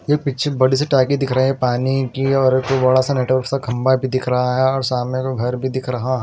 ये पिच्छे बड़ी सी टाइपी दिख रहे हैं पानी की और उस पे बड़ा सा नेटवर्क सा खम्बा भी दिख रहा है और सामने को घर भी दिख रह--।